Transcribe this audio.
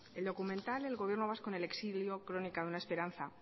el documental el gobierno vasco en el exilio crónica de una esperanza